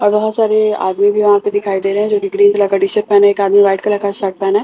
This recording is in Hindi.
और बहुत सारे आदमी भी वहां पे दिखाई दे रहे हैं जो कि ग्रीन कलर का टी शर्ट पहने हैं एक आदमी व्हाइट कलर का शर्ट पहना है।